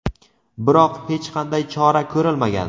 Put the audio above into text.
biroq hech qanday chora ko‘rilmagan.